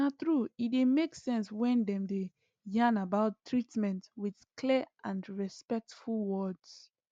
na true e dey make sense when dem dey yarn about treatment with clear and respectful words